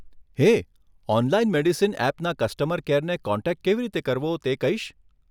હેય, online medicine એપના customer કેરને contact કેવી રીતે કરવો તે કહીશ?